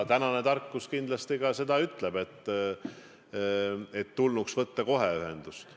Tänane tarkus kindlasti ka seda ütleb, et tulnuks võtta kohe ühendust.